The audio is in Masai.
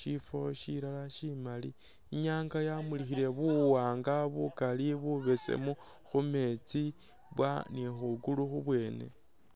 shifo shilala shimaali, inyanga yamulikhile buwanga bukaali bubesemu khumeetsi bwa ne khwiguulu khubwene.